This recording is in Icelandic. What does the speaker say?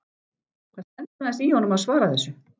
Það stendur aðeins í honum að svara þessu.